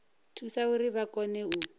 thusa uri vha kone u